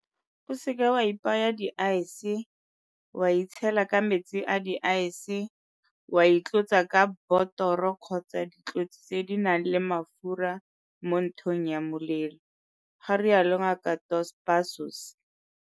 O seke wa ipaya di-ice, wa itshela ka metsi a di-ice, wa itlotsa ka botoro kgotsa ditlotsi tse di nang le mafura mo nthong ya molelo, ga rialo Ngaka Dos Passos.